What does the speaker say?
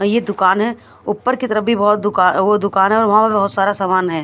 ये दुकान है ऊपर की तरफ भी बहुत दुकान वो दुकान है और वहाँ बहुत सारा सामान है।